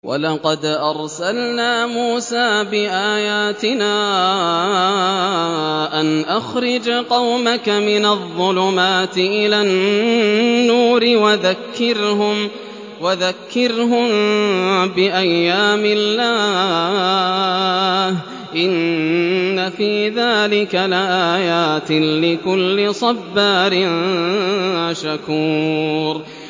وَلَقَدْ أَرْسَلْنَا مُوسَىٰ بِآيَاتِنَا أَنْ أَخْرِجْ قَوْمَكَ مِنَ الظُّلُمَاتِ إِلَى النُّورِ وَذَكِّرْهُم بِأَيَّامِ اللَّهِ ۚ إِنَّ فِي ذَٰلِكَ لَآيَاتٍ لِّكُلِّ صَبَّارٍ شَكُورٍ